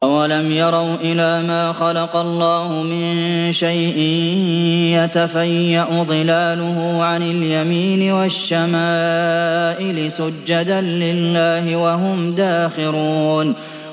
أَوَلَمْ يَرَوْا إِلَىٰ مَا خَلَقَ اللَّهُ مِن شَيْءٍ يَتَفَيَّأُ ظِلَالُهُ عَنِ الْيَمِينِ وَالشَّمَائِلِ سُجَّدًا لِّلَّهِ وَهُمْ دَاخِرُونَ